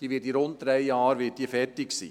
diese wird in rund drei Jahren fertig sein.